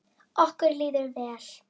Okkur líður vel.